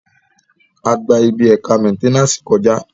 A gba ibi ẹ̀ka mẹ́nténàsì kọ̀já